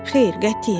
Xeyr, qətiyyən.